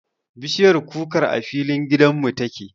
Bishiyar kukar a filin gidan mu ta ke